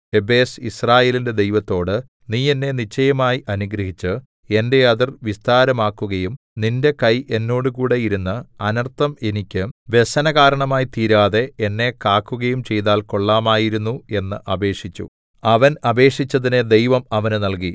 യബ്ബേസ് യിസ്രായേലിന്റെ ദൈവത്തോട് നീ എന്നെ നിശ്ചയമായി അനുഗ്രഹിച്ച് എന്റെ അതിർ വിസ്താരമാക്കുകയും നിന്റെ കൈ എന്നോടുകൂടെ ഇരുന്ന് അനർത്ഥം എനിക്ക് വ്യസനകാരണമായി തീരാതെ എന്നെ കാക്കുകയും ചെയ്താൽ കൊള്ളാമായിരുന്നു എന്ന് അപേക്ഷിച്ചു അവൻ അപേക്ഷിച്ചതിനെ ദൈവം അവന് നല്കി